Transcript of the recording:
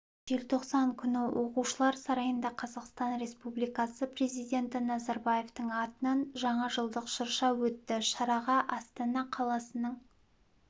желтоқсан күні оқушылар сарайында қазақстан республикасы президенті назарбаевтың атынан жаңа жылдық шырша өтті шараға астана қаласының